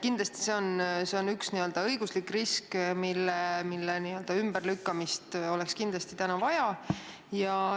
Kindlasti see on üks õiguslik risk, mille ümberlükkamist oleks kindlasti täna vaja.